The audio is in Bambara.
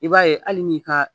I b'a ye hali n'i ka.